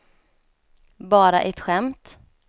bara ett skämt